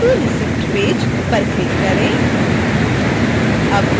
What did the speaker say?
go to receipt page पर click करें